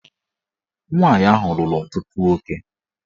Nwaanyị ahụ lụrụ ọtụtụ nwoke